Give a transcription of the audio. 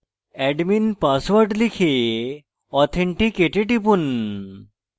admin password লিখে authenticate এ টিপুন